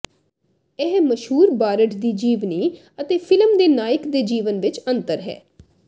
ਇਹ ਮਸ਼ਹੂਰ ਬਾਰਡ ਦੀ ਜੀਵਨੀ ਅਤੇ ਫਿਲਮ ਦੇ ਨਾਇਕ ਦੇ ਜੀਵਨ ਵਿਚ ਅੰਤਰ ਹੈ